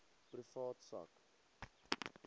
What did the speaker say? privaat sak